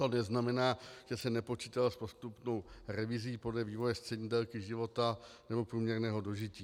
To neznamená, že se nepočítalo s postupnou revizí podle vývoje střední délky života nebo průměrného dožití.